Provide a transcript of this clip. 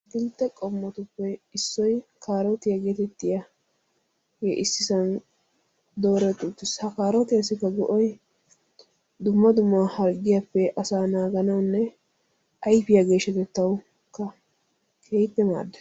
atakiltte qommotuppe issoy kaarotiya geetettiyaage ississan dooretti uttiis. ha kaarotiyassikka go''ay dumma dumma harggiyappe asa naaganawunne ayfiyaa geeshshatettawukka keehippe maaddees.